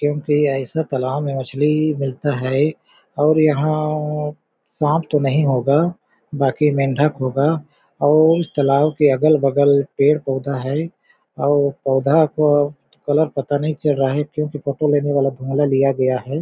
क्योंकि ऐसा तालाब में मछली मिलता है और यहां सांप तो नहीं होगा बाकी मेंढक होगा और इस तालाब के अगल-बगल पेड़ पौधा है और पौधा को कलर पता नहीं चल रहा है क्योंकि फोटो लेने वाला धुंगला लिया गया है।